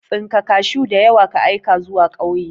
Tsinka kashuw diyawa ka aika zuwa kauye.